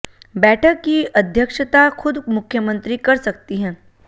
बैठक की अध्यक्षता खुद मुख्यमंत्री कर सकती हैं